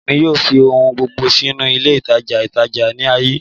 Emi yoo fi ohun gbogbo sinu ile itaja itaja ni aaye